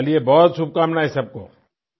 चलिए बहुत शुभकामनाएं सबको